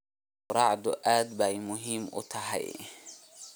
Quraacdu aad bay muhiim u tahay.